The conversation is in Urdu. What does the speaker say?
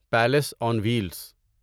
palace on wheels